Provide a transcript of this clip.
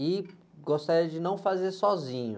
E gostaria de não fazer sozinho.